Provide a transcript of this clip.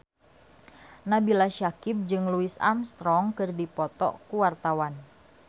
Nabila Syakieb jeung Louis Armstrong keur dipoto ku wartawan